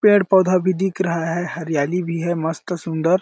पेड़-पौधा भी दिख रहा है हरियाली भी है मस्त सुन्दर--